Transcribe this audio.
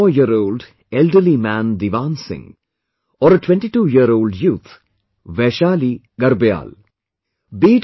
Be it an 84 year old elderly man Diwan Singh, or a 22 year old youth Vaishali Garbyaal